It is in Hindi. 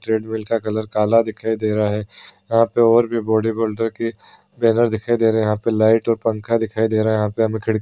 ट्रैड मिल का कलर काला दिखाई दे रहा है यहा पे और भी बॉडी बिल्डर की ट्रेनर दिखाई दे रहे है यहा पे लाइट और पंखा दिखाई दे रहा है यहा पे हमें खिड़कि--